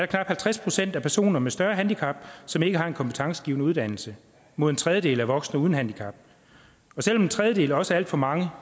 knap halvtreds procent af personer med større handicap som ikke har en kompetencegivende uddannelse mod en tredjedel voksne uden handicap selv om en tredjedel også er alt for mange